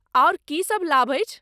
आओर की सभ लाभ अछि?